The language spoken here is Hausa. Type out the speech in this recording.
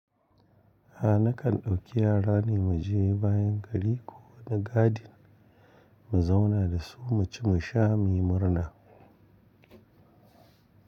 A nakan ɗauki yara ne mu je bayan gari ko wani gadin mu zauna da su mu ci mu sha mu yi murna.